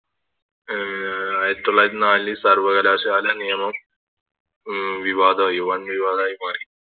ആഹ് ആയിരത്തി തൊള്ളായിരത്തി നാലിൽ സർവകലാശാല നിയമം ഉം വിവാദമായി വൻ വിവാദമായി മാറി